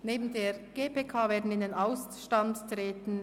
Neben der GPK werden in den Ausstand treten: